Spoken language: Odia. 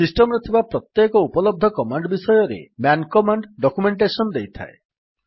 ସିଷ୍ଟମ୍ ରେ ଥିବା ପ୍ରତ୍ୟେକ ଉପଲବ୍ଧ କମାଣ୍ଡ୍ ବିଷୟରେ ମ୍ୟାନ୍ କମାଣ୍ଡ୍ ଡକ୍ୟୁମେଣ୍ଟେଶନ୍ ଦେଇଥାଏ